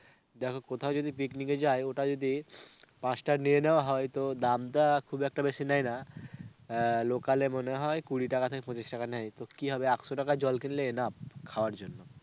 দেখো কোথাও যদি picnic এ যায় আর ওটা যদি পাঁচটা নিয়ে নেওয়া হয়, তো দামটা খুব একটা বেশি নেয়না. আহ local এ মনে হয় কুড়ি টাকা থেকে পঁচিশ টাকা নেয় তো কি হবে একশো টাকার জল কিনলে enough খাবার জন্য.